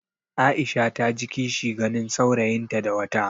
Aisha ta ji kishi ganin saurayinta da wata.